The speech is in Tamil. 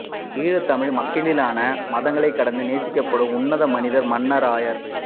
ஈழத் தமிழ் மக்களினால் மதங்கள் கடந்து நேசிக்கப்படும் உன்னத மனிதர் மன்னார் ஆயர்